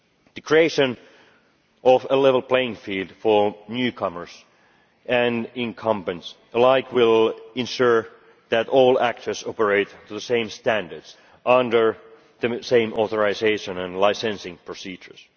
The creation of a level playing field for newcomers and incumbents alike will ensure that all actors operate to the same standards under the same authorisation and licensing procedures.